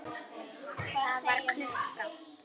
Það var klukka.